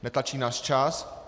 Netlačí nás čas.